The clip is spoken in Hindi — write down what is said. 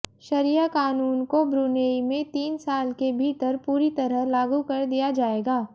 शरिया क़ानून को ब्रुनेई में तीन साल के भीतर पूरी तरह लागू कर दिया जाएगा